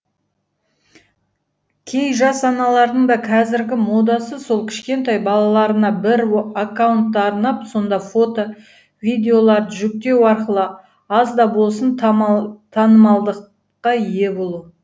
кей жас аналардың да қазіргі модасы сол кішкентай балаларына бір аккаунтты арнап сонда фото видеоларды жүктеу арқылы аз да болсын танымалдылыққа ие болу